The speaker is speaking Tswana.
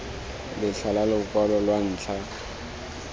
letlha la lokwalo lwa ntlha